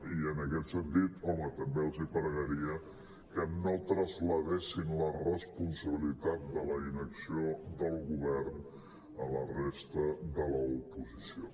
i en aquest sentit home també els pregaria que no traslladessin la responsabilitat de la inacció del govern a la resta de l’oposició